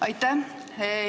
Aitäh!